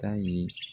Ta ye